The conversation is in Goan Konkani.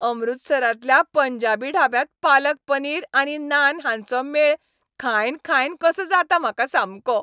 अमृतसरांतल्या पंजाबी ढाब्यांत पालक पनीर आनी नान हांचो मेळ खायन खायन कसो जाता म्हाका सामको.